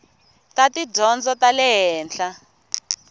ta tidyondzo ta le henhla